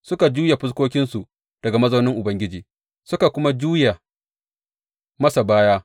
Suka juya fuskokinsu daga mazaunin Ubangiji suka kuma juya masa baya.